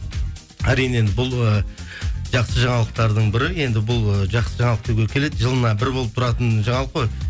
әрине енді бұл ы жақсы жаңалықтардың бірі енді бұл ы жақсы жаңалық деуге келеді жылына бір болып тұратын жаңалық қой